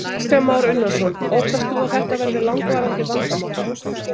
Kristján Már Unnarsson: Óttast þú að þetta verði langvarandi vandamál?